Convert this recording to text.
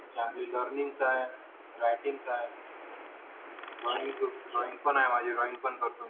, writing चा आहे drawing आहे ड्रॉईंग पण करतो मी